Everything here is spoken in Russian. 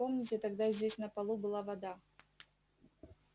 помните тогда здесь на полу была вода